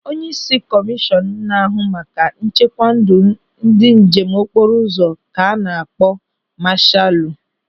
Onyeisi kọmishọn na-ahụ maka nchekwa ndụ ndị njem okporo ụzọ ka a na-akpọ masaalu.